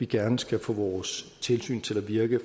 gerne skulle få vores tilsyn til at virke